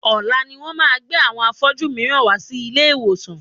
Ọ̀la ni wọ́n máa gbé àwọn afọ́jú mìíràn wá sí ilé ìwòsàn.